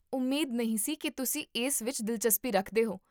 ਉਮੀਦ ਨਹੀਂ ਸੀ ਕਿ ਤੁਸੀਂ ਇਸ ਵਿੱਚ ਦਿਲਚਸਪੀ ਰੱਖਦੇ ਹੋ